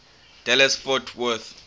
dallas fort worth